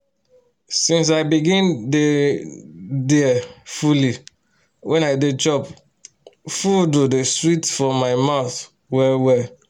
since i begin dey um there fully when i dey chop food um dey sweet for my mouth well well